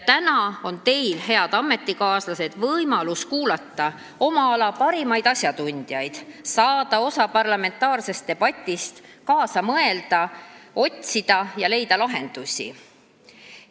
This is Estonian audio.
Täna on teil, head ametikaaslased, võimalus kuulata oma ala parimaid asjatundjaid, saada osa parlamentaarsest debatist, kaasa mõelda ning otsida ja leida lahendusi.